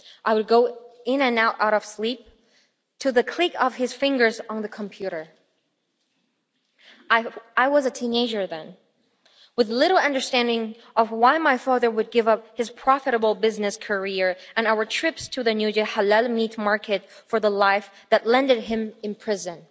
I would go in and out of sleep to the click of his fingers on the computer. I was a teenager then, with little understanding of why my father would give up his profitable business career and our trips to the Nujie halal meat market for the life that landed him in prison.